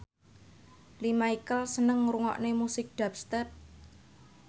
Lea Michele seneng ngrungokne musik dubstep